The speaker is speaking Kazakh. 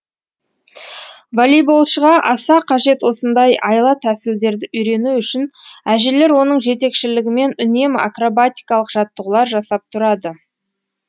волейболшыға аса қажет осындай айла тәсілдерді үйрену үшін әжелер оның жетекішілігімен үнемі акробатикалық жаттығулар жасап тұрады